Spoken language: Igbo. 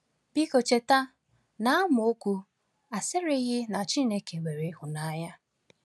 Biko cheta na amaokwu a sịrịghị na Chineke nwere ịhụnanya.